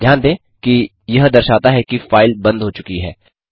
ध्यान दें कि यह दर्शाता है कि फाइल बंद हो चुकी है